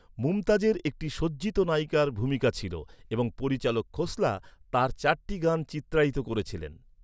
মুমতাজের একটি সজ্জিত নায়িকার ভূমিকা ছিল এবং পরিচালক খোসলা তাঁর চারটি গান চিত্রায়িত করেছিলেন।